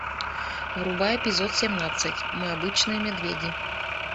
врубай эпизод семнадцать мы обычные медведи